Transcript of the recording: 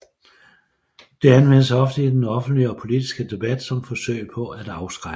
Det anvendes ofte i den offentlige og politiske debat som forsøg på at afskrække